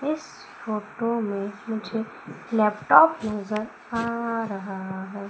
इस फोटो में मुझे लैपटॉप नजर आ रहा है।